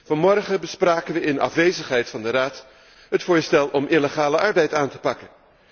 Vanmorgen bespraken wij in afwezigheid van de Raad het voorstel om illegale arbeid aan te pakken.